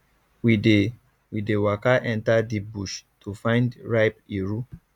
we dey we dey waka enter deep bush to find ripe iru